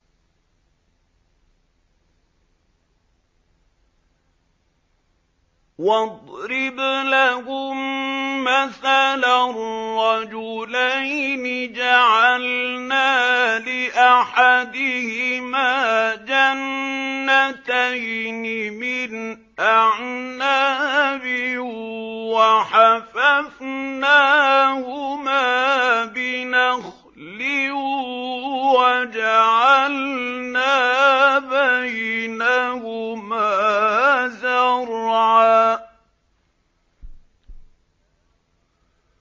۞ وَاضْرِبْ لَهُم مَّثَلًا رَّجُلَيْنِ جَعَلْنَا لِأَحَدِهِمَا جَنَّتَيْنِ مِنْ أَعْنَابٍ وَحَفَفْنَاهُمَا بِنَخْلٍ وَجَعَلْنَا بَيْنَهُمَا زَرْعًا